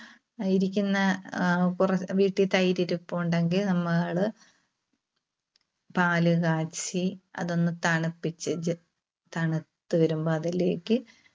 ആ ഇരിക്കുന്ന, ആഹ് കുറ വീട്ടിൽ തൈര് ഇരുപ്പുണ്ടെങ്കിൽ നമ്മള് പാല് കാച്ചി അതൊന്ന് തണുപ്പിച്ചേച്ച് തണുത്തുവരുമ്പോ അതിലേക്ക്